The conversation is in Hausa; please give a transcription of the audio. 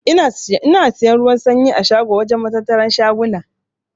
Ina siyan ruwan sanyi a shago wajen matattaran shaguna.